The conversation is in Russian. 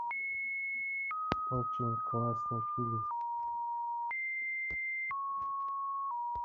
очень классный фильм